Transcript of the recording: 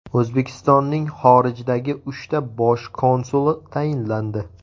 O‘zbekistonning xorijdagi uchta bosh konsuli tayinlandi.